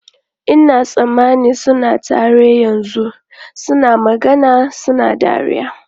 Ina tsammanin suna tare yanzu, suna magana suna dariya.